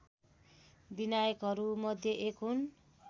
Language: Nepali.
विनायकहरूमध्ये एक हुन्